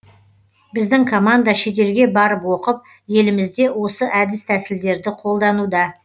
біздің команда шетелге барып оқып елімізде осы әдіс тәсілдерді қолдануда